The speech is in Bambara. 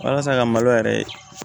Walasa ka malo yɛrɛ